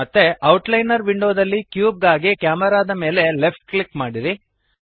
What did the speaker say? ಮತ್ತೆ ಔಟ್ಲೈನರ್ ವಿಂಡೋದಲ್ಲಿ ಕ್ಯೂಬ್ ಗಾಗಿ ಕೆಮೆರಾ ದ ಮೇಲೆ ಲೆಫ್ಟ್ ಕ್ಲಿಕ್ ಮಾಡಿರಿ